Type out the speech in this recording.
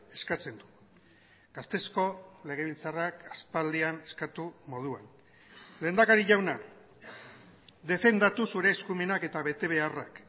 eskatzen du gasteizko legebiltzarrak aspaldian eskatu moduan lehendakari jauna defendatu zure eskumenak eta betebeharrak